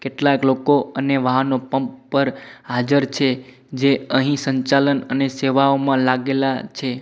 કેટલાક લોકો અને વાહનો પંપ પર હાજર છે જે અહીં સંચાલન અને સેવાઓમાં લાગેલા છે.